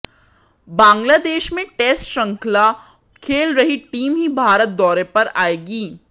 बांग्लादेश में टेस्ट श्रृंखला खेल रही टीम ही भारत दौरे पर आएगी